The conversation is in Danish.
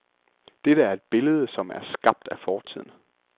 Dette er et billede som er skabt af fortiden.